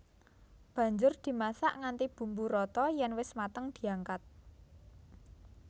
Banjur dimasak nganti bumbu rata yèn wis mateng diangkat